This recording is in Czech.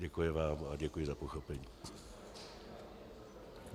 Děkuji vám a děkuji za pochopení.